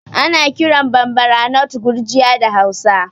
Ana kiran Bambara nut Gurjiya da Hausa